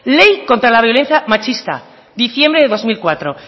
ley contra la violencia machista diciembre de dos mil cuatro